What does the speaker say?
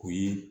O ye